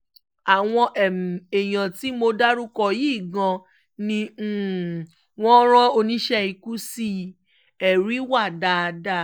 àwọn èèyàn tí mo dárúkọ yìí gan-an ni wọ́n rán oníṣẹ́ ikú sí i ẹ̀rí wa dáadáa